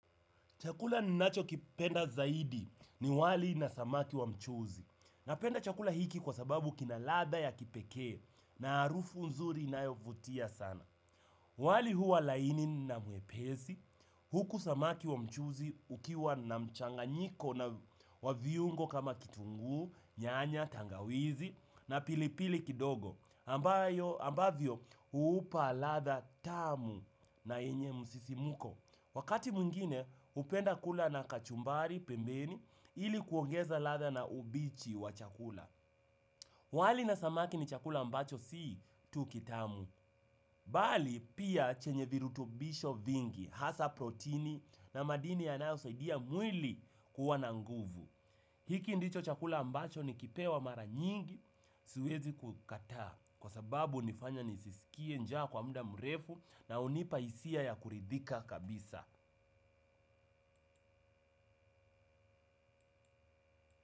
Chakula ninachokipenda zaidi ni wali na samaki wa mchuzi. Napenda chakula hiki kwa sababu kina ladha ya kipekee na harufu nzuri inayovutia sana. Wali huwa laini na mwepesi, huku samaki wa mchuzi ukiwa na mchanganyiko na wa viungo kama kitunguu, nyanya, tangawizi na pilipili kidogo ambayo ambavyo huupa ladha tamu na yenye msisimko. Wakati mwingine hupenda kula na kachumbari pembeni ili kuongeza ladha na ubichi wa chakula. Wali na samaki ni chakula ambacho si tu kitamu. Bali pia chenye virutubisho vingi, hasa protini na madini yanayosaidia mwili kuwa na nguvu. Hiki ndicho chakula ambacho nikipewa mara nyingi, siwezi kukataa. Kwa sababu hunifanya nisisikie njaa kwa muda mrefu na hunipa hisia ya kuridhika kabisa.